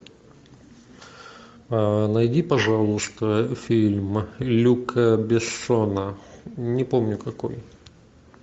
найди пожалуйста фильм люка бессона не помню какой